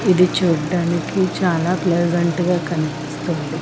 ఇది చూడ్డానికి చాలా ప్లసెంట్ గా కనిపిస్తుంది.